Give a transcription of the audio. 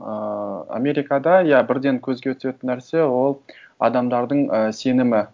ыыы америкада иә бірден көзге түсетін нәрсе ол адамдардың і сенімі